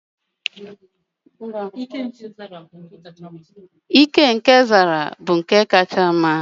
Ike aja aja nke Zara bụ nke kacha mma n'afọ gara aga